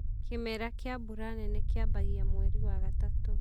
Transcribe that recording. kĩmera kia mbura nene kiambagia mweri wa gatatu.